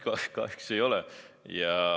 Kahjuks ei ole.